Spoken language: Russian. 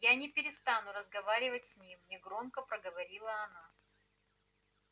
я не перестану разговаривать с ним негромко проговорила она